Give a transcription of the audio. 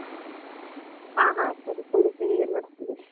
ಹ ಹ ಸರಿ .